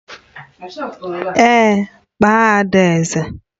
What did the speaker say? Èé, kpọọ adaeze